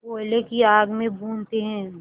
कोयले की आग में भूनते हैं